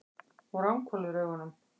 Hún ranghvolfir augunum.